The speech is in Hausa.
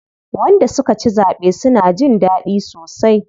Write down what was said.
Wanda suka ci zaɓe suna jin daɗi sosai.